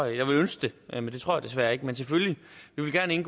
ønske det men det tror jeg desværre ikke men selvfølgelig vil vi gerne